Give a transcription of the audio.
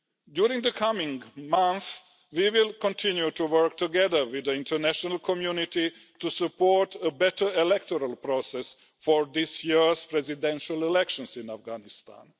During the coming months, we will continue to work together with the international community to support a better electoral process for this year's presidential elections in Afghanistan.